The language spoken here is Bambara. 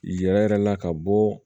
Yɛrɛ yɛrɛ la ka bɔ